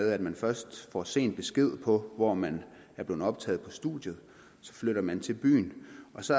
at man først får sen besked på hvor man er blevet optaget på studiet så flytter man til byen og så